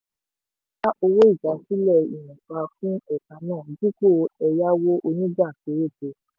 ó dá owó ìdásílẹ̀ ìwọ̀nba fún ẹ̀ka náà dípò ẹ̀yáwó onígbà péréte.